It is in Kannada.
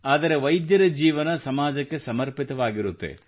ಆದರೆ ವೈದ್ಯರ ಜೀವನ ಸಮಾಜಕ್ಕೆ ಸಮರ್ಪಿತವಾಗಿರುತ್ತದೆ